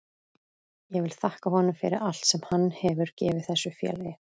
Ég vil þakka honum fyrir allt sem hann hefur gefið þessu félagi.